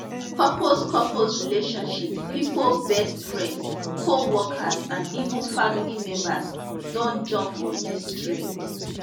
couples couples relationship pipo best friends coworkers and even family members don jump on dis trend